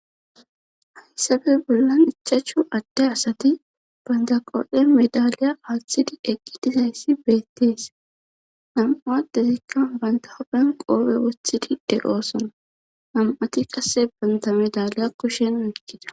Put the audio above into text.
hayssabe bollan ichachchu adde asati baynta qo7en medaliya aaththidi eqqi dizayssi beettees nam7u adetekka bayntahopen qoobe woththidi de7oosona nam7ati qasse baynta medaliya kushen uikkida